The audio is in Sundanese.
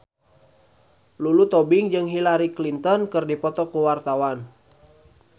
Lulu Tobing jeung Hillary Clinton keur dipoto ku wartawan